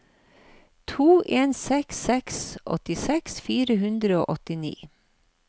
to en seks seks åttiseks fire hundre og åttini